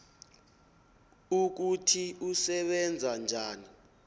ukuthi usebenza njani